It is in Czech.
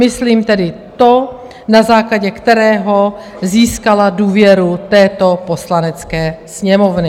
Myslím tedy to, na základě kterého získala důvěru této Poslanecké sněmovny.